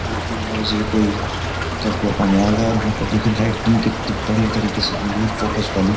देखिए गाइस ये कोई कपड़ों का मॉल है और यहाँ पर देखिए लाइटिंग कितनी बढ़िया तरीके से की गई फोकस वाली।